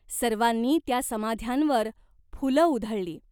सर्वांनी त्या समाध्यांवर फुलं उधळली.